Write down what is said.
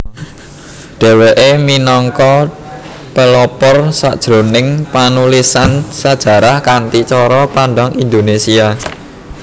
Dheweke minangka pelopor sajroning panulisan sejarah kanthi cara pandang Indonesia